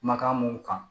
Kumakan mun kan